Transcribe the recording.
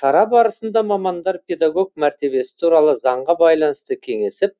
шара барысында мамандар педагог мәртебесі туралы заңға байланысты кеңесіп